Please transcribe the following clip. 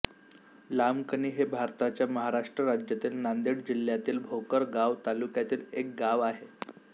लामकणी हे भारताच्या महाराष्ट्र राज्यातील नांदेड जिल्ह्यातील भोकर गाव तालुक्यातील एक गाव आहे